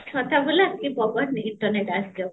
ଛତା ବୁଲା କି ନିଯୁକ୍ତ ନେ